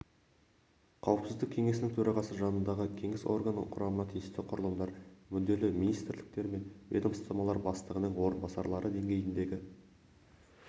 қауіпсіздік кеңесінің төрағасы жанындағы кеңес органының құрамына тиісті құрылымдар мүдделі министрліктер мен ведомстволар бастығының орынбасарлары деңгейіндегі